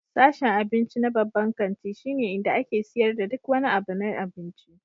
Sashen abinci na babban kanti shine inda ake siyar da duk wani abu na abinci.